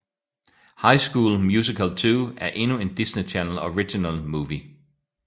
High School Musical 2 er endnu en Disney Channel Original Movie